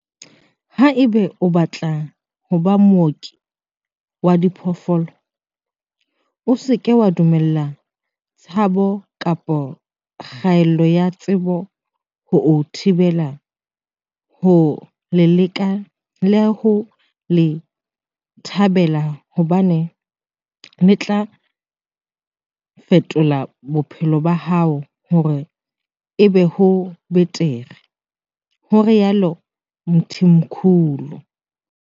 "Haeba o batla ho ba mooki wa diphoofolo, o se ke wa dumella tshabo kapa kgaello ya tsebo ho o thibela ho le leka le ho le thabela hobane le tla fetola bophelo ba hao hore e be bo betere," ho rialo Mthimkhulu.